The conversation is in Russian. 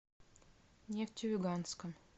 нефтеюганском